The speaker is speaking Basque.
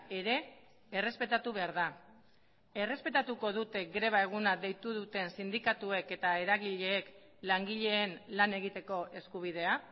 ere errespetatu behar da errespetatuko dute greba eguna deitu duten sindikatuek eta eragileek langileen lan egiteko eskubidea